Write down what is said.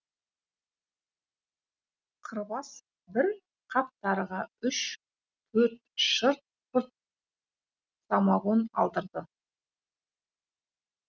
қырбас бір қап тарыға үш төрт шырт пырт самогон алдырды